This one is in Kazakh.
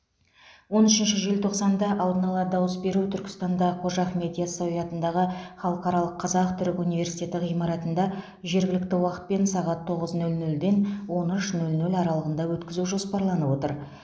он үшінші желтоқсанда алдын ала дауыс беру түркістанда қожа ахмет ясауи атындағы халықаралық қазақ түрік университеті ғимаратында жергілікті уақытпен сағат тоғыз нөл нөлден он үш нөл нөл аралығында өткізу жоспарланып отыр